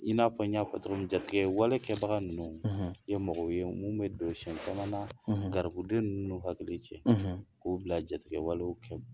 I n'a fɔ n y'a fɔ togo min jatigɛwalekɛbaga nunu; ; Ye mɔgɔw ye munnu bɛ don sɛn caman na; ; Garibudenw nunnu hakili cɛ; ; k'u bila jatigɛwale kɛ